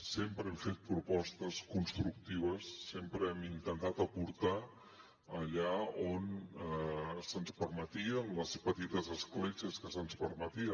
sempre hem fet propostes constructives sempre hem intentat aportar allà on se’ns permetia amb les petites escletxes que se’ns permetia